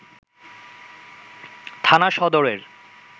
থানা সদরের